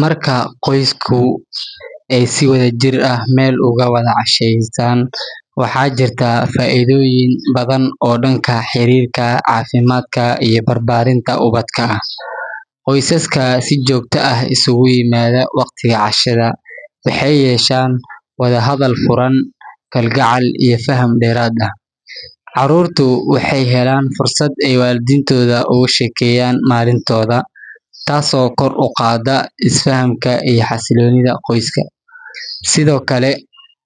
Marka qoysku ay si wadajir ah meel ugu wada cashaystaan, waxaa jirta faa’iidooyin badan oo dhanka xiriirka, caafimaadka iyo barbaarinta ubadka ah. Qoysaska si joogto ah isugu yimaada waqtiga cashada waxay yeeshaan wada hadal furan, kalgacal, iyo faham dheeraad ah. Carruurtu waxay helaan fursad ay waalidiintooda uga sheekeeyaan maalintooda, taasoo kor u qaadda is-fahamka iyo xasilloonida qoyska. Sidoo kale,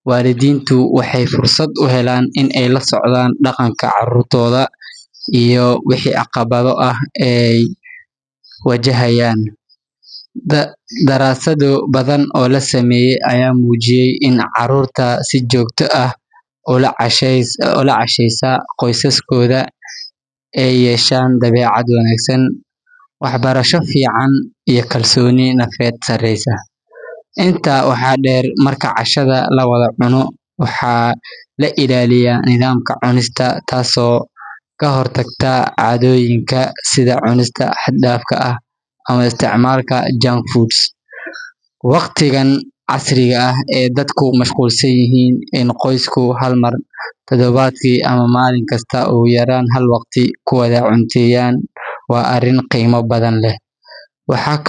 waalidiintu waxay fursad u helaan inay la socdaan dhaqanka carruurtooda iyo wixii caqabado ah ee ay wajahayaan. Daraasado badan oo la sameeyay ayaa muujiyay in carruurta si joogto ah ula cashaysa qoysaskooda ay yeeshaan dabeecad wanaagsan, waxbarasho fiican, iyo kalsooni nafeed sareysa. Intaa waxaa dheer, marka cashada la wada cuno, waxaa la ilaaliyaa nidaamka cunista, taasoo ka hortagta caadooyinka sida cunista xad-dhaafka ah ama isticmaalka junk food. Waqtigan casriga ah ee dadku mashquulsan yihiin, in qoysku hal mar toddobaadkii ama maalin kasta ugu yaraan hal waqti ku wada cunteeyaan waa arrin qiimo badan leh. Waxaa kaloo.